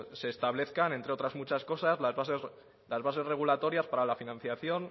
pues se establezcan entre otras muchas cosas las bases regulatorias para la financiación